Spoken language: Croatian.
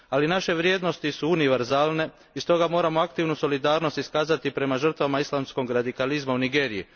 Ali, naše vrijednosti su univerzalne i stoga moramo aktivnu solidarnost iskazati prema žrtvama islamskog radikalizma u Nigeriji.